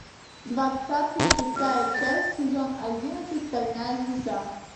двадцатый шестая часть сезон одиннадцать стальная звезда